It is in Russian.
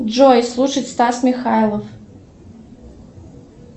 джой слушать стас михайлов